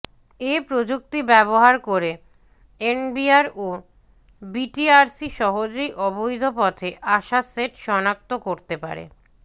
এ প্রযুক্তি ব্যবহার করে এনবিআর ও বিটিআরসি সহজেই অবৈধ পথে আসা সেট শনাক্ত করতে পারবে